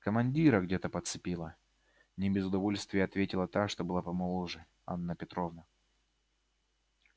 командира где то подцепила не без удовольствия отметила та что была помоложе анна петровна